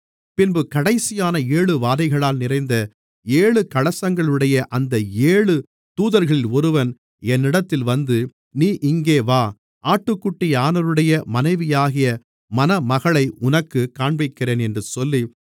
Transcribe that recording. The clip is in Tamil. பின்பு கடைசியான ஏழு வாதைகளால் நிறைந்த ஏழு கலசங்களையுடைய அந்த ஏழு தூதர்களில் ஒருவன் என்னிடத்தில் வந்து நீ இங்கே வா ஆட்டுக்குட்டியானவருடைய மனைவியாகிய மணமகளை உனக்குக் காண்பிக்கிறேன் என்று சொல்லி